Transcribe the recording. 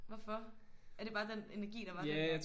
Hvorfor? Er det bare den energi der var dengang?